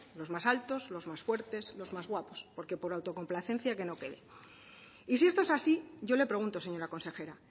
los más altos los más fuertes los más guapos que por autocomplacencia que no quede y si esto es así yo le pregunto señora consejera